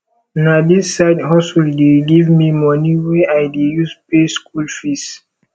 na dis side hustle dey give me money wey i dey use pay skool fees